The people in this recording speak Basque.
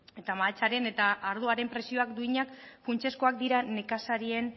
eta mahatsaren eta ardoaren prezio duinak funtsezkoak dira nekazarien